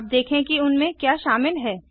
अब देखें कि उनमें क्या शामिल है